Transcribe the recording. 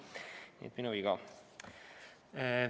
Nii et minu viga.